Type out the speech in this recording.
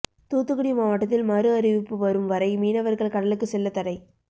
தூத்துக்குடி மாவட்டத்தில் மறுஅறிவிப்பு வரும் வரை மீனவா்கள் கடலுக்கு செல்லத் தடை